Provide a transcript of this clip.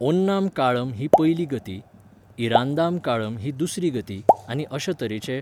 ओन्नाम काळम ही पयली गती, इरांदाम काळम ही दुसरी गती आनी अशे तरेचे.